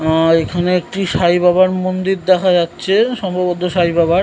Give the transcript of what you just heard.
আ- এখানে একটি সাই বাবার মন্দির দেখা যাচ্ছে সম্ভবত সাই বাবার।